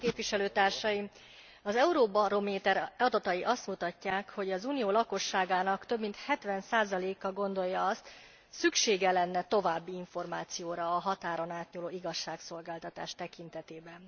Tisztelt Képviselőtársaim! Az Eurobaromer adatai azt mutatják, hogy az unió lakosságának több mint 70 a gondolja azt szüksége lenne további információra a határon átnyúló igazságszolgáltatás tekintetében.